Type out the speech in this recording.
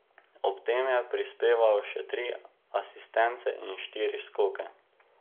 Ob tem je prispeval še tri asistence in štiri skoke.